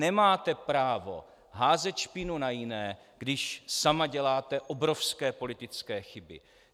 Nemáte právo házet špínu na jiné, když sama děláte obrovské politické chyby.